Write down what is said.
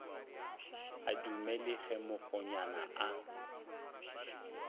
a dumele ge mokgonyana a